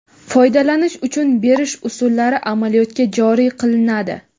foydalanish uchun berish usullari amaliyotga joriy qilinadi.